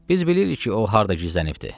Biz bilirik ki, o harda gizlənibdir.